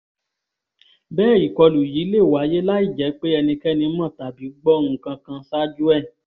bẹ́ẹ̀ ìkọlù yìí lè wáyé láì jẹ́ pé ẹnikẹ́ni mọ̀ tàbí gbọ́ nǹkan kan ṣáájú ẹ̀